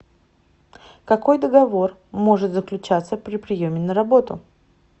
какой договор может заключаться при приеме на работу